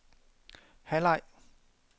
halvleg